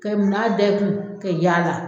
Ka munna da i kun, ka yaala